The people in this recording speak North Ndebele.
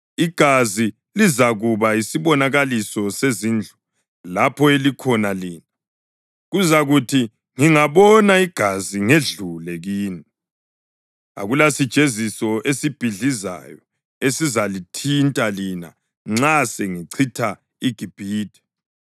Igazi lizakuba yisibonakaliso sezindlu lapho elikhona lina; kuzakuthi ngingabona igazi ngedlule kini. Akulasijeziso esibhidlizayo esizalithinta lina nxa sengichitha iGibhithe.